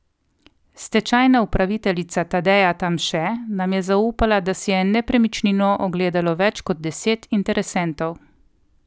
Stečajna upraviteljica Tadeja Tamše nam je zaupala, da si je nepremičnino ogledalo več kot deset interesentov.